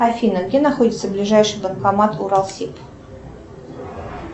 афина где находится ближайший банкомат уралсиб